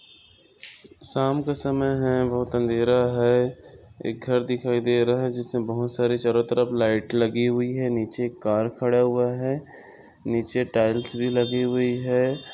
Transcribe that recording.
शाम का समय है। बोहोत अंधेरा है। एक घर दिखाई दे रहा है जिसमे चारो तरफ लाइट लगी हुई है नीचे एक कार खडा हुआ है नीचे टाइल्स भी लगी हुई है।